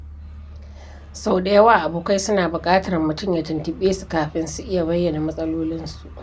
Sau da yawa, abokai suna buƙatar mutum ya tuntuɓe su kafin su iya bayyana matsalolinsu.